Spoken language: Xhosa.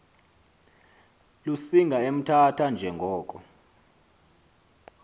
lusinga emthatha njengoko